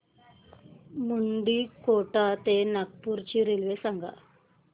मुंडीकोटा ते नागपूर ची रेल्वे सांगा